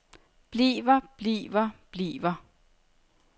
bliver bliver bliver